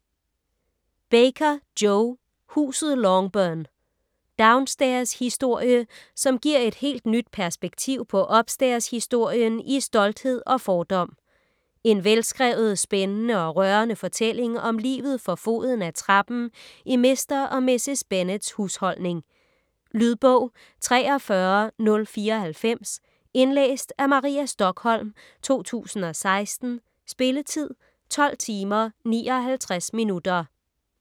Baker, Jo: Huset Longbourn Downstairs-historie som giver et helt nyt perspektiv på upstairs-historien i "Stolthed og fordom". En velskrevet, spændende og rørende fortælling om livet for foden af trappen i Mr. og Mrs. Bennets husholdning. Lydbog 43094 Indlæst af Maria Stokholm, 2016. Spilletid: 12 timer, 59 minutter.